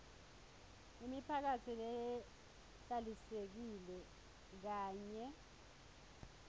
imiphakatsi lehlalisekile kanye